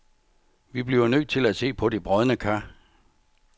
Vi bliver nødt til at se på de brådne kar.